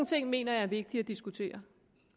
ting mener jeg er vigtige at diskutere